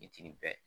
Fitiri bɛɛ